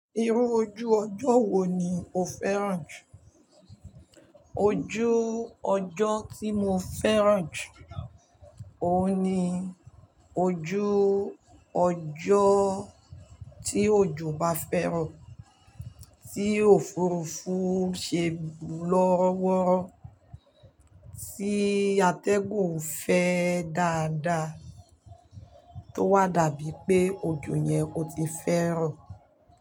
Irú ojú ọjọ́ wo ni o fẹ́ràn jù? Ojú ọjọ́ tí mo fẹ́ràn jù, òun ni ojú ọjọ́ tí òjò bá fẹ́rọ, tí òfurufú ṣe lọ́wọ́rọ́, tí atẹ́gùn fẹ́ dáadáa, tó wà dàbí pé ojo yẹn óti fẹ́rọ.